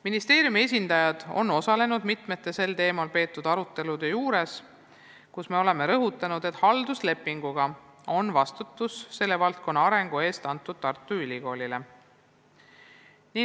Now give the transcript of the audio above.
Ministeeriumi esindajad on osalenud mitmel sel teemal peetud arutelul, kus me oleme rõhutanud, et halduslepinguga on vastutus selle valdkonna arengu eest pandud Tartu Ülikoolile.